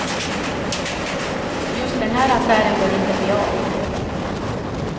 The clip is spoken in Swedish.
Just den här affären bör inte bli av.